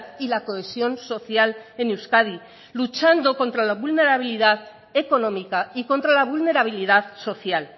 y la cohesión social en euskadi luchando contra la vulnerabilidad económica y contra la vulnerabilidad social